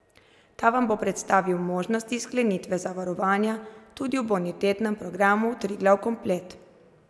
Ta vam bo predstavil možnosti sklenitve zavarovanja tudi v bonitetnem programu Triglav komplet.